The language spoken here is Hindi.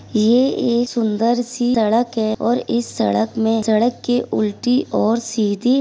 ये एक सुंदर सी सड़क है और इस सड़क में सड़क के उल्टी और सीधी --